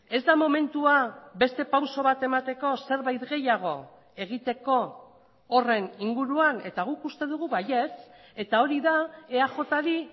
ez da momentua beste pauso bat emateko zerbait gehiago egiteko horren inguruan eta guk uste dugu baietz eta hori da eajri